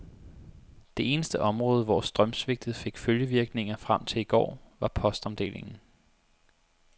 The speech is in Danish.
Det eneste område, hvor strømsvigtet fik følgevirkninger frem til i går, var postomdelingen.